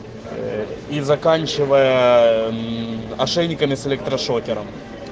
ээ и заканчивая мм ошейниками с электрошокером